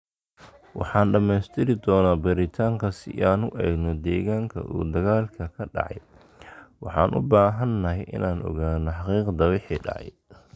Waxaan dhameystiri doonaa baaritaanka si aan u eegno deegaanka uu dagaalku ka dhacay, waxaan u baahanahay inaan ogaano xaqiiqda wixii dhacay.